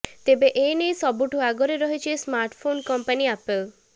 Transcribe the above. ତେବେ ଏନେଇ ସବୁଠୁ ଆଗରେ ରହିଛି ସ୍ମାର୍ଟଫୋନ୍ କଂପାନି ଆପେଲ୍